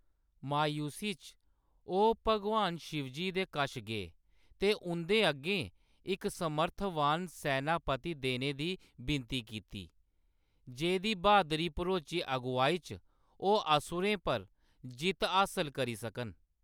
मायूसी च, ओह्‌‌ भागवान शिवजी दे कश गे ते उंʼदे अग्गें इक समर्थवान सैनापती देने दी विनती कीती, जेह्‌दी ब्हादरी भरोची अगुवाई च ओह्‌‌ असुरें पर जित्त हासल करी सकन।